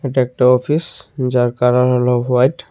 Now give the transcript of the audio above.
এটা একটা অফিস যার কালার হলো হোয়াইট ।